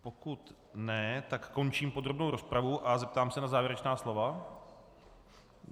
Pokud ne, tak končím podrobnou rozpravu a zeptám se na závěrečná slova.